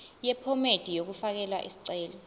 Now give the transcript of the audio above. yephomedi yokufaka isicelo